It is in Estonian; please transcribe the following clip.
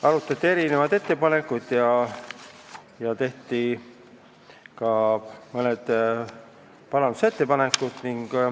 Arutati erinevaid ettepanekuid ja tehti ka mõned parandusettepanekud.